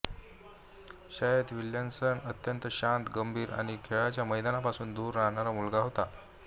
शाळेत विल्सन अत्यंत शांत गंभीर आणि खेळाच्या मैदानापासून दूर राहणारा मुलगा होता